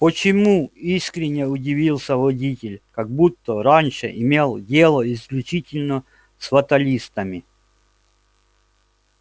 почему искренне удивился водитель как будто раньше имел дело исключительно с фаталистами